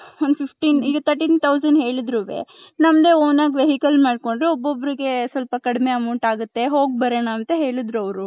thirteen thousand ಹೇಳಿದ್ರುನುವೆ .ನಂದೆ own ಆಗಿ vechile ಮಾಡ್ಕೊಂಡ್ರೆ ಒಬೋಬ್ರಿಗೆ ಸ್ವಲ್ಪ ಕಡಿಮೆ amount ಆಗುತ್ತೆ ಹೋಗ್ ಬರಣ ಹೇಳಿದ್ರು ಅವರು .